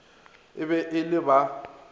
e be e le ba